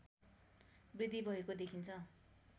वृद्धि भएको देखिन्छ